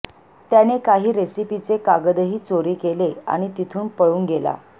त्याने काही रेसिपीचे कागदही चोरी केले आणि तिथून पळून गेला